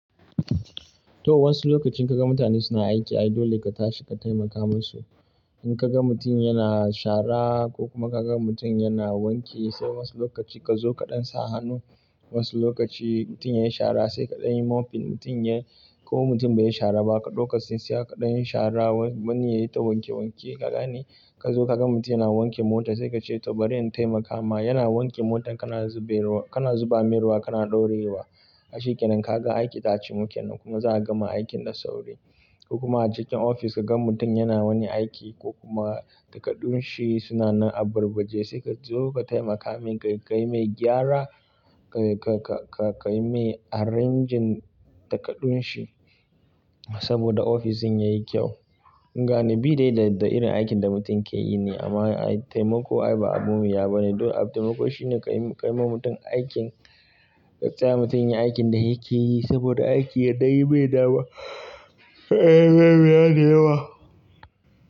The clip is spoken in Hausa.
To wasu lokacin ka ga mutane suna aiki ai dole ka tashi ka taimaka musu. In ka ga mutum yana shara ko kuma ka ga mutum yana wanke sai wasu lokaci ka zo kaɗan sa hannu. Wasu lokaci mutum yayi shara sai kaɗan yi mopping. Mutum yayi ko mutum bai yi shara ba ka ɗauka tsinsiya kaɗa yin shara wani yayi ta wanke wanke. Kaga ne ka zo ka ga mutum yana wanke mota sai ka ce ta bari in taimaka ma. Yana wanke motar kana zube ruwa, kana zuba meruwa, kana ɗorewa. Shi kenan ka ga aiki ta cimu kenan kuma za'a gama aikin da sauri. Kuma a cikin ofis ka ga mutum yana wani aiki ko kuma takardun shi suna na abarbarje sai ka zo ka taimaka min ka kai mai gyara, ka kai mai arrange takardun shi saboda ofishin yayi kyau. Gane bi dai da irin aikin da mutum ke yi ne amma taimako ai ba abu mai yawa bane. Don abun taimako shine ka yi ma mutum aikin, ka taya mutum yin aikin da yake yi saboda aiki ya ɗan yi mai dawa, ba yayi yawa.